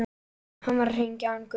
HANN VAR AÐ HRINGJA HANN GUTTI.